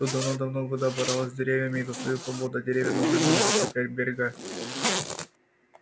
тут давным-давно вода боролась с деревьями за свою свободу а деревья должны были закреплять берега